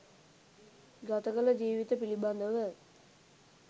ගතකළ ජීවිත පිළිබඳව.